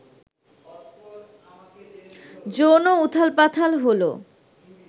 যৌন উথালপাতাল হলো